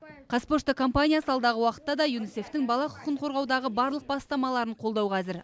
қазпошта компаниясы алдағы уақытта да юнисеф тің бала құқығын қорғаудағы барлық бастамаларын қолдауға әзір